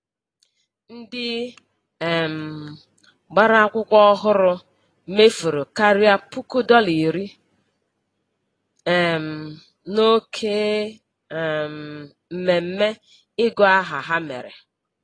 Ndị um gbara akwụkwọ ọhụrụ mefuru karịa puku dọla iri um n'oke um mmemme ịgụ aha ha mere.